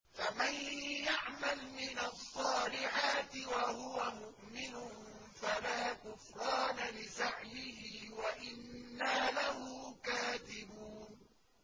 فَمَن يَعْمَلْ مِنَ الصَّالِحَاتِ وَهُوَ مُؤْمِنٌ فَلَا كُفْرَانَ لِسَعْيِهِ وَإِنَّا لَهُ كَاتِبُونَ